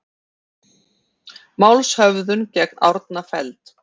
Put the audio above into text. Málshöfðun gegn Árna felld